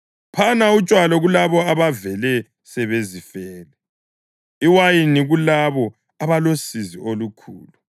Phana utshwala kulabo abavele sebezifele, iwayini kulabo abalosizi olukhulu;